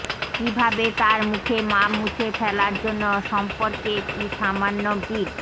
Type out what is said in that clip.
কিভাবে তার মুখে মাপ মুছে ফেলার জন্য সম্পর্কে একটি সামান্য বিট